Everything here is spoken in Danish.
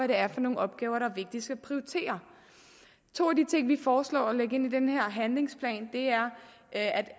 det er for nogle opgaver der er vigtigst at prioritere to af de ting vi foreslår at lægge ind i den her handlingsplan er at